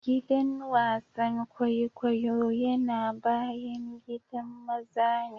Giɗan wasan ƙwaiƙwayo yana baƴan giɗan maza ne.